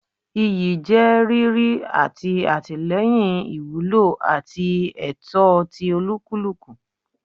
Iyi je riri ati atilẹyin iwulo ati ẹtọ ti olukuluku